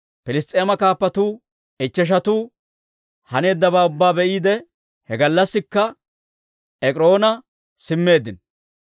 Piliss's'eema kaappatuu ichcheshatuu haneeddabaa ubbaa be'iide, he gallassikka Ek'iroona simmeeddino.